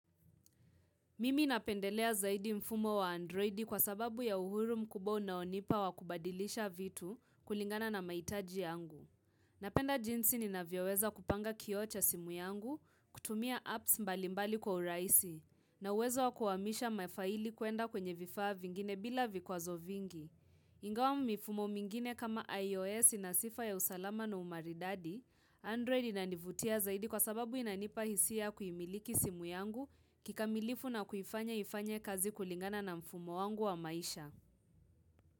Mimi napendelea zaidi mfumo wa androidi kwa sababu ya uhuru mkubwa unaonipa wa kubadilisha vitu kulingana na mahitaji yangu. Napenda jinsi ninavyoweza kupanga kioo cha simu yangu, kutumia apps mbalimbali kwa urahisi, na uwezo wa kuhamisha mafaili kuenda kwenye vifaa vingine bila vikwazo vingi. Ingawa mifumo mingine kama IOS ina sifa ya usalama na umaridadi, Android inanivutia zaidi kwa sababu inanipa hisia kuimiliki simu yangu kikamilifu na kuifanya ifanye kazi kulingana na mfumo wangu wa maisha.